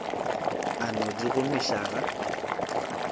a no di gomiša ga